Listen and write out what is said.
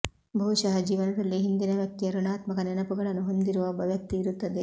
ಬಹುಶಃ ಜೀವನದಲ್ಲಿ ಹಿಂದಿನ ವ್ಯಕ್ತಿಯ ಋಣಾತ್ಮಕ ನೆನಪುಗಳನ್ನು ಹೊಂದಿರುವ ಒಬ್ಬ ವ್ಯಕ್ತಿ ಇರುತ್ತದೆ